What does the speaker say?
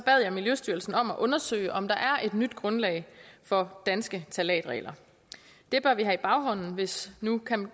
jeg miljøstyrelsen om at undersøge om der er et nyt grundlag for danske ftalatregler det bør vi have i baghånden hvis nu